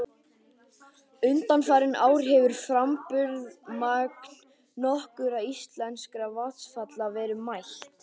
Undanfarin ár hefur framburðarmagn nokkurra íslenskra vatnsfalla verið mælt.